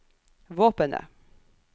våpenet